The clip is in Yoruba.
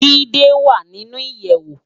Jide wá ninú iyèwó